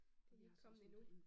Det I ikke kommet endnu